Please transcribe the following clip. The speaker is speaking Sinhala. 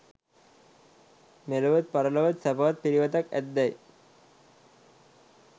මෙලොවත් පරලොවත් සැපවත් පිළිවෙතක් ඇත්දැයි